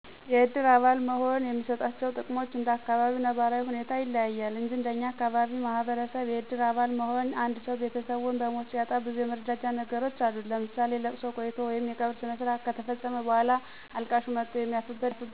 የእድር አባል መሆን የሚሰጣቸው ጥቅሞች እንደ አካባቢው ነባራዊ ሁኔታ ይለያል እንጅ እንደኛ አካባቢ ማህበረሰብ የእድር አባል መሆን አንድሰው ቤተሰቡን በሞት ሲያጣ ብዙ የመረዳጃ ነገሮች አሉት ለምሳሌ፦ ለቅሶ ቆይቶ ወይም የቀብር ስነስረአት ከተፈፀመ በኋላ አልቃሹ መጥቶ የሚያርፍበት ድንኳን በመትከል የተዘጋጀውን ምግብ ና መጠጥ ቀምሶ ይሄዳል። ሌላው ደግሞ ለምግብ ማብሰያ የሚውሉ ማቴረያሎች ለምሳሌ፦ መመገቤያ ሰአን፣ ውሀ መጠጫ ንኬል፣ የወጥ መስሪያ ብረትድስት እንዲሁም ለተጎዳው ግለሰብ የገንዘብ መዋጮ እንደ አስፈላጊነቱ ይሰጣል። ስለዚ የድር አባል መሆን እኛ በምንኖርበት አካባቢ ማህበረሰብ በጣም የጎላ ጥቅም አለው።